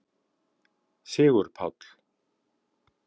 Sigurpáll